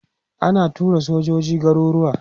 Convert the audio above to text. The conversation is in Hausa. ana tura sojoji garuruwa